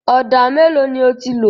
Ọ̀dà mélòó ni o ti lò?